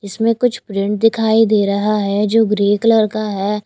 इसमें कुछ प्रिंट दिखाई दे रहा है जो ग्रे कलर का है।